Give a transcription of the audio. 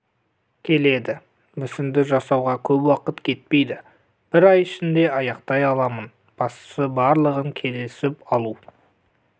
келеді мүсінді жасауға көп уақыт кетпейді бір ай ішінде аяқтай аламын бастысы барлығын келісіп алу